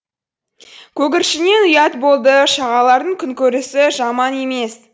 көгершіннен ұят болдышағалалардың күнкөрісі жаман емес